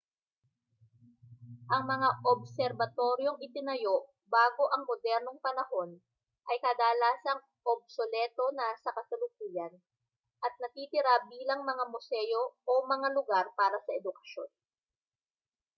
ang mga obserbatoryong itinayo bago ang modernong panahon ay kadalasang obsoleto na sa kasalukuyan at natitira bilang mga museo o mga lugar para sa edukasyon